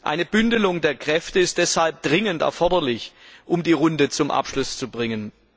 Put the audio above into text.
Eine Bündelung der Kräfte ist deshalb dringend erforderlich, um die Runde zum Abschluss zu bringen.